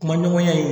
Kuma ɲɔgɔnya ye